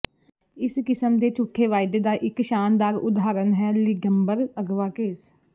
ਇਸ ਕਿਸਮ ਦੇ ਝੂਠੇ ਵਾਅਦੇ ਦਾ ਇਕ ਸ਼ਾਨਦਾਰ ਉਦਾਹਰਨ ਹੈ ਲਿੰਡਬਰ ਅਗਵਾ ਕੇਸ